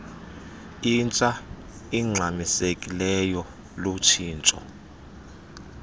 intsha ingxamisekileyo lutshintsho